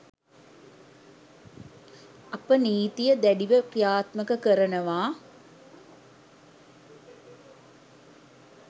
අපි නීතිය දැඩිව ක්‍රියාත්මක කරනවා.